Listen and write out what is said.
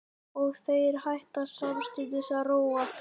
Og þeir hætta samstundis að róa.